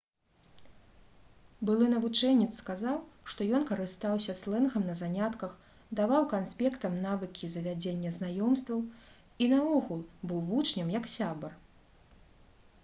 былы навучэнец сказаў што ён «карыстаўся слэнгам на занятках даваў канспектам навыкі завядзення знаёмстваў і наогул быў вучням як сябар»